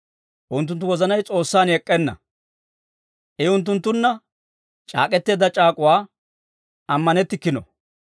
Unttunttu wozanay S'oossan ek'k'enna; I unttunttunna c'aak'k'eteedda c'aak'uwaa ammanettikkino.